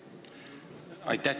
Aitäh!